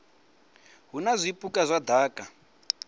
hu na zwipuka zwa daka